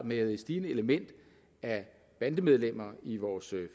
med et stigende element af bandemedlemmer i vores